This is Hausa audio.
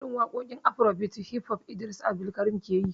Irin waƙoƙi afarobit da hif hof Idris Abdulkarim yake yi